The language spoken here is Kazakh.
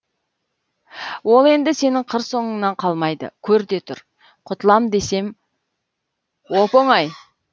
ол енді сенің қыр соңыңнан қалмайды көр де тұр құтылам десем оп оңай